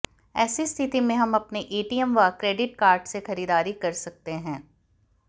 ऐसी स्थिति मेें हम अपने एटीएम व क्रेडिट कार्ड से खरीदारी कर सकते हैं